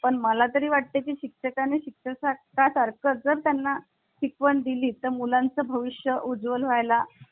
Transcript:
मला तरी वाटते ती शिक्षकां नी शिक्षणाचा प्रसार कर जर त्यांना शिकवण दिली तर मुलांचे भविष्य उज्ज्वल व्हाय ला.